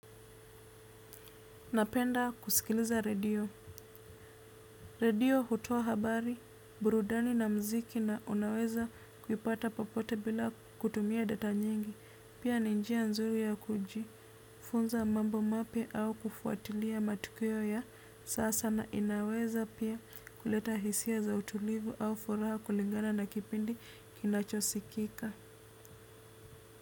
Napenda kusikiliza radio. Radio hutua habari, burudani na mziki na unaweza kuipata papote bila kutumia data nyingi. Pia ninjia nzuri ya kuji, funza mambo mapya au kufuatilia matukio ya sasa na inaweza pia kuleta hisia za utulivu au furaha kulingana na kipindi kinachosikika.